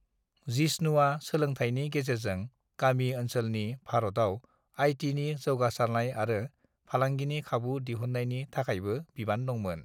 जिष्णुआ सोलोंथायनि गेजेरजों गामि ओनसोलनि भारतआव आइ.टि. नि जौगासारनाय आरो फालांगिनि खाबु दिहुन्नायनि थाखायबो बिबान दंमोन।